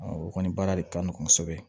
o kɔni baara de ka nɔgɔn kosɛbɛ